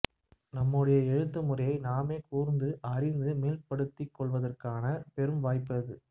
நம்முடைய எழுத்து முறையை நாமே கூர்ந்து ஆராய்ந்து மேம்படுத்திக்கொள்வதற்கான பெரும் வாய்ப்பு அது